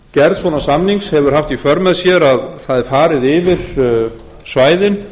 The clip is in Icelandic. gerð svona samnings hefur haft í för með sér að það er farið yfir svæðin